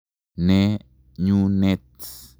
Ne nyunet .